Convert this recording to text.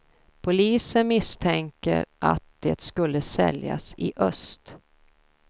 Polisen misstänker att det skulle säljas i öst.